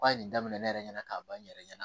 A ye nin daminɛ ne yɛrɛ ɲɛna k'a ban n yɛrɛ ɲɛna